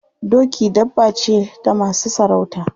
Doki dabba ce ta masu sarauta.